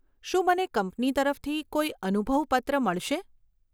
શું મને કંપની તરફથી કોઈ અનુભવ પત્ર મળશે?